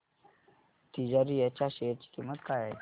तिजारिया च्या शेअर ची किंमत काय आहे